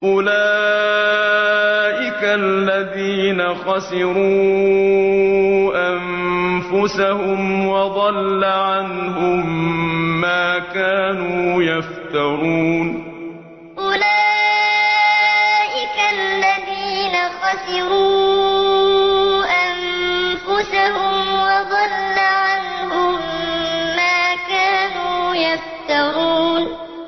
أُولَٰئِكَ الَّذِينَ خَسِرُوا أَنفُسَهُمْ وَضَلَّ عَنْهُم مَّا كَانُوا يَفْتَرُونَ أُولَٰئِكَ الَّذِينَ خَسِرُوا أَنفُسَهُمْ وَضَلَّ عَنْهُم مَّا كَانُوا يَفْتَرُونَ